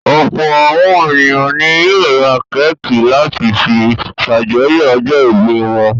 Ọ̀pọ̀ àwọn ènìyàn ni yóò ra kéékì láti fi ṣàjọyọ̀ ọjọ́-ìbí wọn.